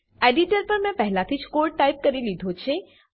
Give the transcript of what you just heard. editor પર મેં પહેલાથી જ કોડ ટાઈપ કરી દીધો છે